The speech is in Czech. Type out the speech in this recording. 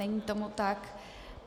Není tomu tak.